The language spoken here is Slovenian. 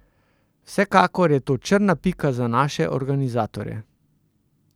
Vsekakor je to črna pika za naše organizatorje.